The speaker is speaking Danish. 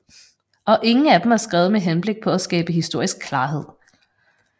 Og ingen af dem er skrevet med henblik på at skabe historisk klarhed